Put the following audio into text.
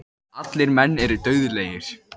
Allir menn eru dauðlegir.